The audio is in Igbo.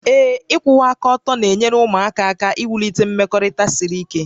Ee. ịkwụwa aka ọtọ na-enyere ụmụaka aka iwulite mmekọrịta siri ike